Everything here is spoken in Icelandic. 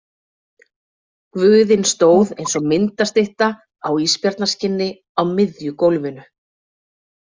Guðinn stóð eins og myndastytta á ísbjarnarskinni á miðju gólfinu.